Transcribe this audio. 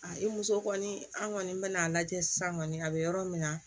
A i muso kɔni an kɔni bɛ n'a lajɛ sisan kɔni a bɛ yɔrɔ min na